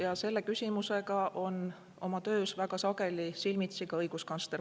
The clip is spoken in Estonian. Ja selle küsimusega on oma töös väga sageli silmitsi ka õiguskantsler.